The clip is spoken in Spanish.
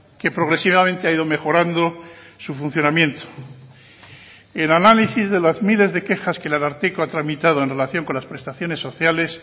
que progresivamente ha ido mejorando su funcionamiento el análisis de las miles de quejas que el ararteko ha tramitado en relación con las prestaciones sociales